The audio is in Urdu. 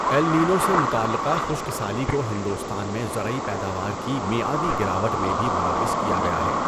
ایل نینو سے متعلقہ خشک سالی کو ہندوستان میں زرعی پیداوار کی میعادی گراوٹ میں بھی ملوث کیا گیا ہے۔